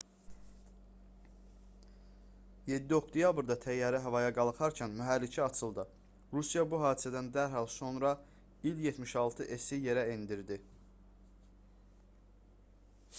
7 oktyabrda təyyarə havaya qalxarkən mühərriki açıldı. rusiya bu hadisədən dərhal sonra i̇l-76s-i yerə endirdi